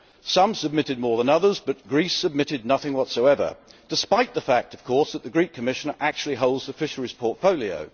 Some submitted more than others, but Greece submitted nothing whatsoever, despite the fact that the Greek Commissioner actually holds the fisheries portfolio.